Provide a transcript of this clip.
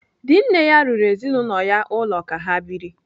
Dinne ya rụrụ ezinaụlọ ya ụlọ ka ha biri.